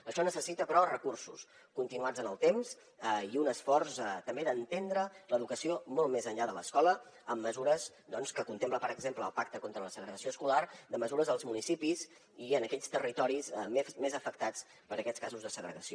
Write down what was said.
això necessita però recursos continuats en el temps i un esforç també d’entendre l’educació molt més enllà de l’escola amb mesures que contemplen per exemple el pacte contra la segregació escolar de mesures als municipis i en aquells territoris més afectats per aquests casos de segregació